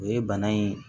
O ye bana in